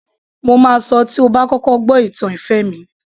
Mo máa sọ tí ó bá kọ́kọ́ gbó ìtàn ìfẹ́ mi